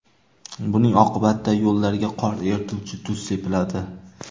Buning oqibatida yo‘llarga qor erituvchi tuz sepiladi.